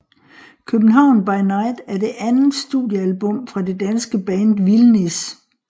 København By Night er det andet studiealbum fra det danske band Vildnis